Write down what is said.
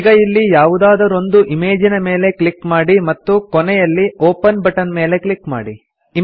ಈಗ ಇಲ್ಲಿ ಯಾವುದಾದರೊಂದು ಇಮೇಜಿನ ಮೇಲೆ ಕ್ಲಿಕ್ ಮಾಡಿ ಮತ್ತು ಕೊನೆಯಲ್ಲಿ ಒಪೆನ್ ಬಟನ್ ಮೇಲೆ ಕ್ಲಿಕ್ ಮಾಡಿ